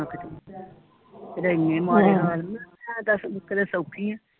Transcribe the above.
ਕਿਤੇ ਇਨੇ ਮਾੜੇ ਹਾਲ ਮੈਂ ਹੈ ਦਸ ਨੁਕਰੇ ਸੋਖੀ ਆ